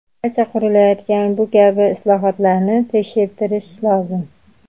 Barcha qurilayotgan bu kabi inshootlarni tekshirtirishi lozim.